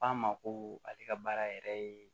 K'a ma ko ale ka baara yɛrɛ ye